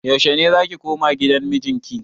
Yaushe ne zaki koma gidan miji ki?